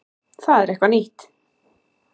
Það er eitthvað nýtt.